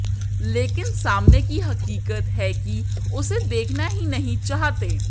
लेकिन सामाने की हकीकत है कि उसे देखना ही नहीं चाहते